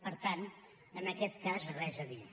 per tant en aquest cas res a dir